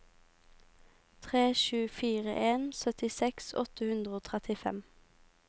tre sju fire en syttiseks åtte hundre og trettifem